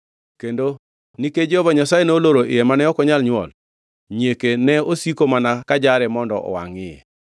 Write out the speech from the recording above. Kendo nikech Jehova Nyasaye noloro iye mane ok onyal nywol, nyieke ne osiko mana kajare mondo owangʼ iye.